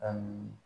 A munu